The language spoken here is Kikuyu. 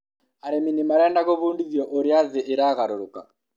arĩmi nĩ marenda gũbudithio ũtĩa thĩĩ ĩragaroroka